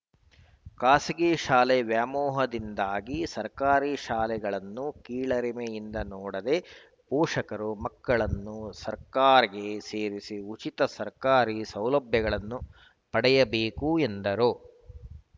ಖಾಸಗಿ ಶಾಲೆ ವ್ಯಾಮೋಹದಿಂದಾಗಿ ಸರ್ಕಾರಿ ಶಾಲೆಗಳನ್ನು ಕೀಳರಿಮೆಯಿಂದ ನೋಡದೇ ಪೋಷಕರು ಮಕ್ಕಳನ್ನು ಸರ್ಕಾಗೆ ಸೇರಿಸಿ ಉಚಿತ ಸರಕಾರಿ ಸೌಲಭ್ಯಗಳನ್ನು ಪಡೆಯಬೇಕು ಎಂದರು